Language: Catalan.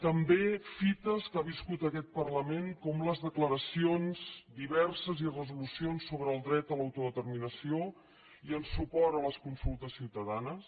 també fites que ha viscut aquest parlament com les declaracions diverses i resolucions sobre el dret a l’autodeterminació i en suport a les consultes ciutadanes